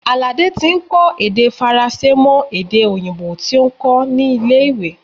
Alade tí ń kọ́ èdè Faransé mọ èdè òyìnbó tí ó ń kó nílé ìwé.